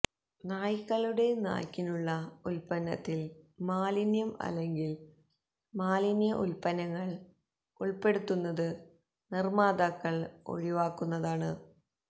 നായ്ക്കളുടെ നായ്ക്കിനുള്ള ഉൽപന്നത്തിൽ മാലിന്യം അല്ലെങ്കിൽ മാലിന്യ ഉൽപ്പന്നങ്ങൾ ഉൾപ്പെടുത്തുന്നത് നിർമ്മാതാക്കൾ ഒഴിവാക്കുന്നതാണ്